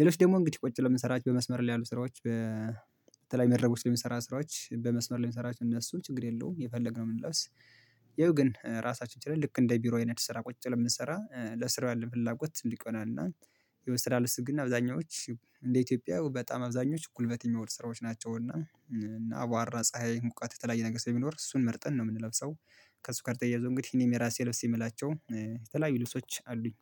ሌሎች ደግሞ እንግዲህ ቁጭ ብለው የምንሰራት በመስመር ላይ ያሉ ስራዎች። በተለይ መድረኮች ላይ የሚሰራ ስራዎች በመስመር ላይ የሚሰራ እነሱ ችግር የለውም የፈለግነው ብንለብስ። ያው ግን ራሳችን ችለን ልክ እንደ ቢሮ አይነት ስራ ቁጭ ብለን ብንሰራ ለስራው ያለን ፍላጎት ትልቅ ይሆናልና። ያው የስራ ልብስ ግን አብዛኞቹ እንደ ኢትዮጵያ በጣም አብዛኞቹ ጉልበት የሚወዱ ስራዎች ናቸው እና አቧራ ፀሀይ ሙቀት የተለያየ ነገር ስለሚኖር እሱን መርጠን ነው የምንለብሰው። ከሱ ጋር ተያይዞ እንግዲህ እኔም የራሴ ለብስ የምላቸው የተለያዩ ልብሶች አሉኝ